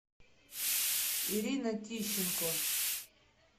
ирина тищенко